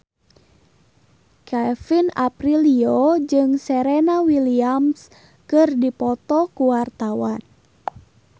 Kevin Aprilio jeung Serena Williams keur dipoto ku wartawan